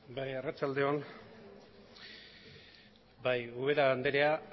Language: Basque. bai arratsalde on ubera andrea